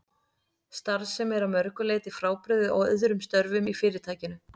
Starf sem er að mörgu leyti frábrugðið öðrum störfum í Fyrirtækinu.